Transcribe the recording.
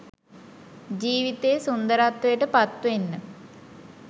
ජීවිතය සුන්දරත්වයට පත්වෙන්න